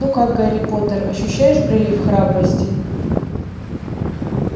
ну как гарри поттер ощущаешь прилив храбрости